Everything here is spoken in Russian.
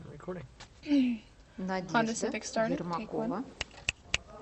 надежда ермакова